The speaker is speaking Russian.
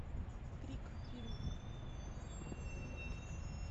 крик фильм